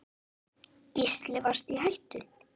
Gísli: Varstu í hættu?